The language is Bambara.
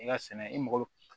I ka sɛnɛ i mako bɛ